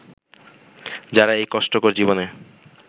যারা এই কষ্টকর জীবনে